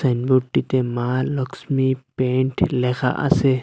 Sign বোর্ডটিতে মা Lakshmi paint লেখা আসে।